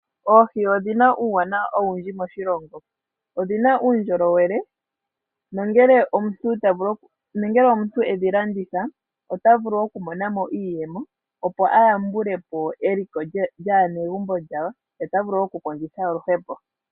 Oohi odhi na uuwanawa owundji moshilongo. Odhi na uundjolowele nongele omuntu e dhi landitha ota vulu oku mona mo iiyemo opo a yambulepo eliko lyaanegumbo lyawo, ye ota vulu wo oku kondjitha oluhepo.